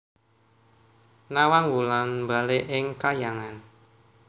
Nawang Wulan mbalik ing kahyangan